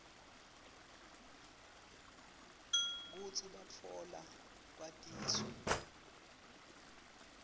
kutsi batfola lwatiso